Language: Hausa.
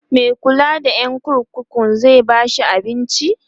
Mai kulla da Yan kurkuku zai bashi abinci?